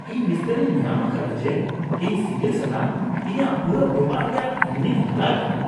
ᱤᱧ ᱱᱤᱥᱛᱟᱹᱨᱤᱧ ᱧᱟᱢ ᱟᱠᱟᱫᱟ ᱡᱮ ᱤᱧ ᱥᱤᱜᱤᱞ ᱥᱟᱞᱟᱜ ᱤᱧᱟᱜ ᱯᱩᱨᱟᱹ ᱵᱮᱯᱟᱨ ᱨᱮᱭᱟᱜ ᱨᱤᱱᱤᱧ ᱦᱟᱞᱟ ᱟᱠᱟᱫᱟ ᱾